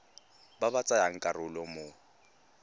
ba ba tsayang karolo mo